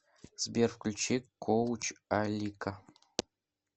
сбер включи коуч алика